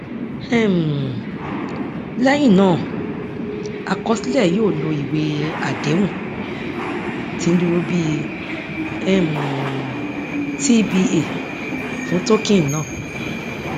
um lẹyìn náà àkọsílẹ yóò lo ìwé àdéhùn tí ń dúró bí um tba fún token náà